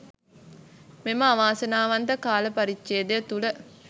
මෙම අවාසනාවන්ත කාල පරිච්ඡේදය තුළ